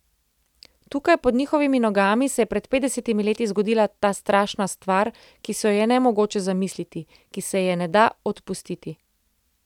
Tukaj, pod njihovimi nogami, se je pred petdesetimi leti zgodila ta strašna stvar, ki si jo je nemogoče zamisliti, ki se je ne da odpustiti.